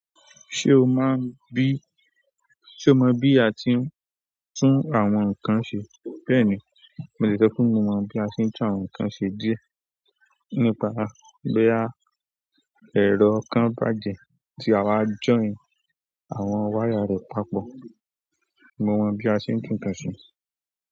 Ṣé o mọ bí a ti ń tún àwọn nǹkan ṣe? Bẹ́ẹ̀ni, mo lè sọ fún ọ bí a ṣe ń tún àwọn nǹkan ṣe díẹ̀. Nípa boya ẹrọ kan bàjẹ́ tí a wa jọyin àwọn wáyà rẹ̀ papọ̀. Mo mọ bí a ṣe ń tún nǹkan ṣe.